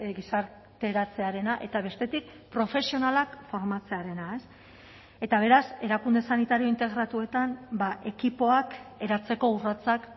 gizarteratzearena eta bestetik profesionalak formatzearena eta beraz erakunde sanitario integratuetan ekipoak eratzeko urratsak